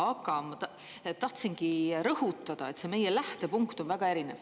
Aga tahtsingi rõhutada, et see meie lähtepunkt on väga erinev.